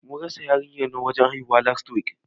Mun rasa yarinyar nan wajen haihuwa, last week.